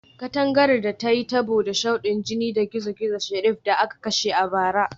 Katangar ta yi tabo da shudin jinin dan gizo-gizo Sheriff da aka kashe a bara